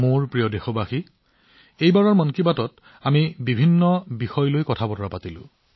মোৰ মৰমৰ দেশবাসীসকল মন কী বাতত এইবাৰো আমি বহুতো বিষয়ৰ বিষয়ে কথা পাতিলো